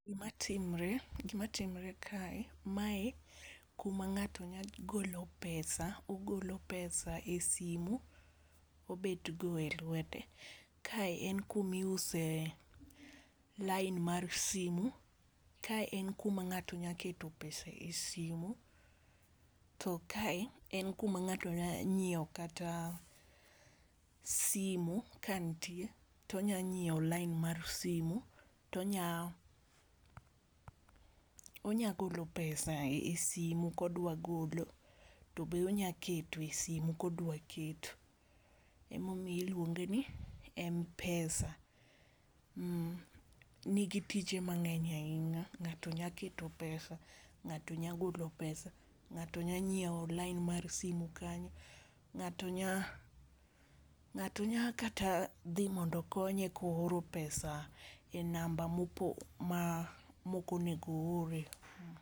Gimatimre gimatimre kae mae kuma nga'to nyalo golo pesa, ogolo pesa e simu obet godo e lwete. Kae en kuna iuse line mar simu. Kae en kuma ng'ato nyalo keto pesa e simu. To kae e kuma ng'ato nyalo nyiew kata simu kanitie to onya nyiew line mar simu to onya onyalo golo pesa e simu kodwa golo to be onya keto e simu kodwa keto. Ema omiyo ilwonge ni Mpesa nigi tije mang'eny ahinya, nga'to nya keto pesa nga'to nya golo pesa ngato nya nyiew line mar simu kanyo. Ng'ato nya ng'ato nya kata dhi mondo okonye ko oro pesa e namba ma ok onego o ore.